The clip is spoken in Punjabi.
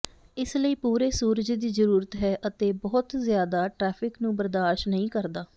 ਇਸ ਲਈ ਪੂਰੇ ਸੂਰਜ ਦੀ ਜ਼ਰੂਰਤ ਹੈ ਅਤੇ ਬਹੁਤ ਜ਼ਿਆਦਾ ਟ੍ਰੈਫਿਕ ਨੂੰ ਬਰਦਾਸ਼ਤ ਨਹੀਂ ਕਰਦਾ